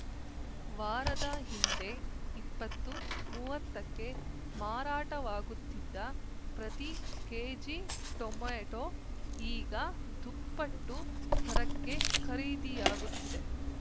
ವಾರದ ಹಿಂದೆ ಇಪ್ಪತ್ತು ಮೂವತ್ತಕ್ಕೆ ಮಾರಾಟವಾಗುತ್ತಿದ್ದ ಪ್ರತಿ ಕೆಜಿಟೊಮೆಟೋ ಈಗ ದುಪ್ಪಟ್ಟು ದರಕ್ಕೆ ಖರೀದಿಯಾಗುತ್ತಿದೆ